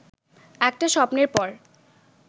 একটা স্বপ্নের পর